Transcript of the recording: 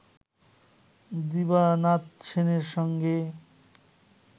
দিবানাথ সেনের সঙ্গে